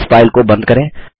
इस फाइल को बंद करें